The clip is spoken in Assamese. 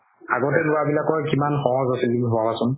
আগতে লোৱা বিলাকৰ কিমান সহজ আছিল ভাবাচোন